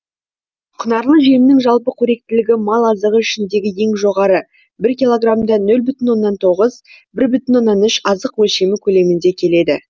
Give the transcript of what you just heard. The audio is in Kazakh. құнарлы жемнің жалпы қоректілігі мал азығы ішіндегі ең жоғары бір килограммда нөл бүтін оннан тоғыз бір бүтін оннан үш азық өлшемі көлеміңде келеді